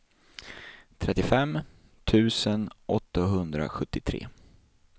trettiofem tusen åttahundrasjuttiotre